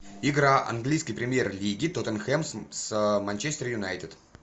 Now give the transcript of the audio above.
игра английской премьер лиги тоттенхэм с манчестер юнайтед